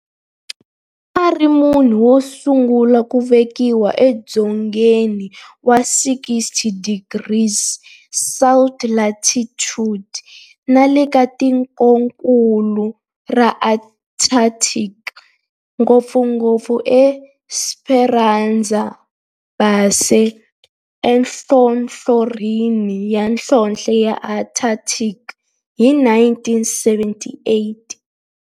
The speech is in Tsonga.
A ri munhu wosungula ku velekiwa edzongeni wa 60 degrees south latitude nale ka tikonkulu ra Antarctic, ngopfungopfu eEsperanza Base enhlohlorhini ya nhlonhle ya Antarctic hi 1978.